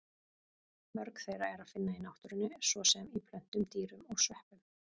Mörg þeirra er að finna í náttúrunni, svo sem í plöntum, dýrum og sveppum.